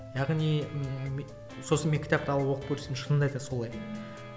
яғни ммм сосын мен кітапты алып оқып көрсем шынында да солай